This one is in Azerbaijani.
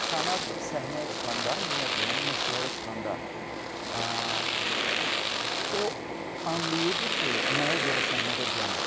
Sənət səhnəyə çıxanda ümumiyyətlə məşqlərə çıxanda o anlayırdı ki, nəyə görə səhnədə dayanır.